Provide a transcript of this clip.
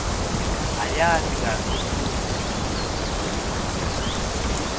uyati kantsi futsi